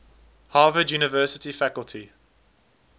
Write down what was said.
harvard university faculty